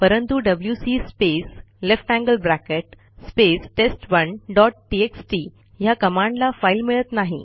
परंतु W C space ल्ट space test one dot TXT ह्या कमांडला फाईल मिळत नाही